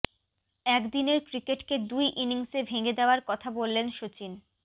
একদিনের ক্রিকেটকে দুই ইনিংসে ভেঙে দেওয়ার কথা বললেন সচিন